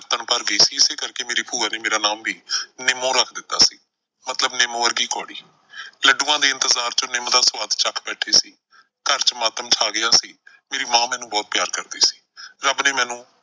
ਕੁੜੱਤਣ ਭਰ ਗਈ ਸੀ, ਇਸ ਕਰਕੇ ਮੇਰੀ ਭੂਆ ਨੇ ਮੇਰਾ ਨਾਮ ਵੀ ਨਿਮੋਂ ਰੱਖ ਦਿੱਤਾ ਸੀ ਮਤਲਬ ਨਿੰਮ ਵਰਗੀ ਕੌੜੀ। ਲੱਡੂਆਂ ਦੇ ਇੰਤਜਾਰ ਚ ਨਿੰਮ ਦਾ ਸਵਾਦ ਚੱਖ ਬੈਠੇ ਸੀ। ਘਰ ਚ ਮਾਤਮ ਛਾ ਗਿਆ ਸੀ, ਮੇਰੀ ਮਾਂ ਮੈਨੂੰ ਬਹੁਤ ਪਿਆਰ ਕਰਦੀ ਸੀ। ਰੱਬ ਨੇ ਮੈਨੂੰ,